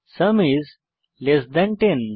sum is less than 10